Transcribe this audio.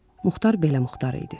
Muxtar belə Muxtar idi.